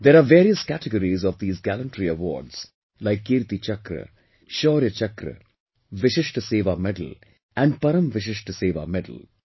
There are various categories of these gallantry awards like Kirti Chakra, Shaurya Chakra, Vishisht Seva Medal and Param Vishisht Seva Medal